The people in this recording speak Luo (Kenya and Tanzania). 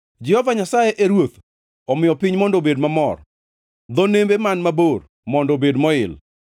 Jehova Nyasaye e Ruoth, omiyo piny mondo obed mamor; dho nembe man mabor mondo obed moil.